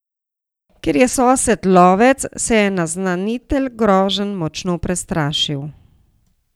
Ker je sosed lovec, se je naznanitelj groženj močno prestrašil.